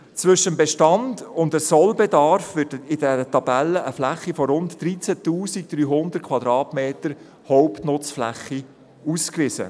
Zwischen dem Bestand und dem Sollbedarf wird in dieser Tabelle eine Fläche von rund 13 300 Quadratmetern Hauptnutzfläche ausgewiesen.